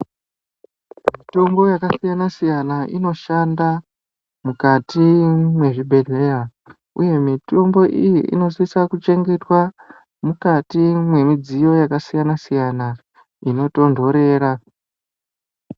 Mitombo yakasiyana-siyana inoshanda mukati mwezvibhedhleya, uye mitombo iyi inosisa kuchengetwa mukati mwemidziyo yakasiyana-siyana inotonhorera.